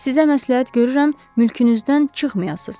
Sizə məsləhət görürəm mülkünüzdən çıxmayasız.